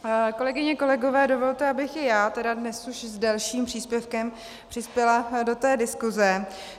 Kolegyně, kolegové, dovolte, abych i já tedy dnes už s delším příspěvkem přispěla do té diskuse.